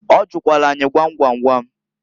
Ọ jụkwalụ anyị gwam gwam gwam.